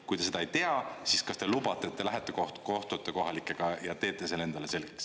Kui te seda ei tea, siis kas te lubate, et te lähete, kohtute kohalikega ja teete selle endale selgeks.